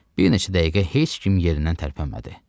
Bir neçə dəqiqə heç kim yerindən tərpənmədi.